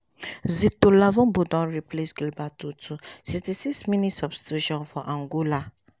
zitola don replace sixty six minutes substitution for angola